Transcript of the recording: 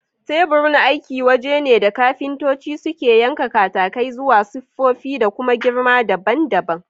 Teburin aiki waje ne da kafintoci suke yanka katakai zuwa siffofi da kuma girma daban daban